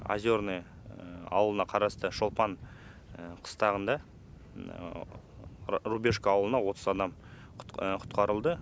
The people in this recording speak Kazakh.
озерное ауылына қарасты шолпан қыстағында рубежка ауылына отыз адам құтқарылды